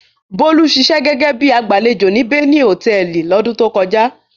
Bólú ṣiṣẹ́ gẹ́gẹ́ bí i agbàlejò ní Beni Hòtẹ́ẹ́lì lọ́dún tó kọjá.